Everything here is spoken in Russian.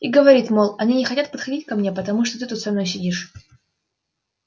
и говорит мол они не хотят подходить ко мне потому что ты тут со мной сидишь